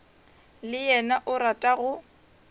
le yena o rata go